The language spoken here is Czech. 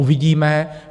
Uvidíme.